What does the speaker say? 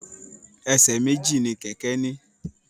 Ẹsẹ̀ méjì ni kẹkẹ ni.